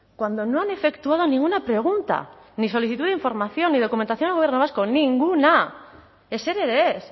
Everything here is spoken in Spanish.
cuando no han efectuado ninguna pregunta ni solicitud de información y documentación al gobierno vasco nin gu na ezer ere ez